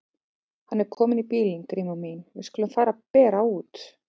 Hann er kominn bíllinn Gríma mín, við skulum fara að bera út.